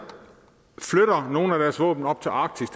flytter nogle af deres våben op til arktis